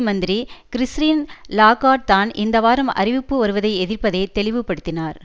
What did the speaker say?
மந்திரி Christine Lagarde தான் இந்த வாரம் அறிவிப்பு வருவதை எதிர்ப்பதை தெளிவுபடுத்தினார்